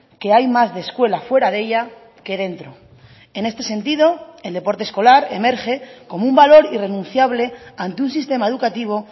que hay más de escuela fuera de ella que dentro en este sentido el deporte escolar emerge como un valor irrenunciable ante un sistema educativo